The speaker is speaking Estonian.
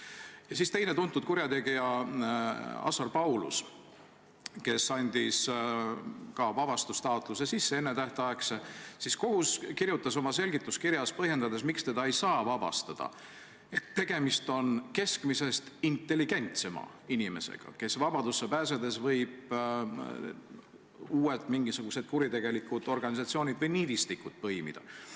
Ja siis on teine tuntud kurjategija Assar Paulus, kes andis ka vabastustaotluse sisse, ennetähtaegse, kohus aga kirjutas oma selgituskirjas, põhjendades, miks teda ei saa vabastada, et tegemist on keskmisest intelligentsema inimesega, kes vabadusse pääsedes võib uued mingisugused kuritegelikud organisatsioonid või niidistikud põimida.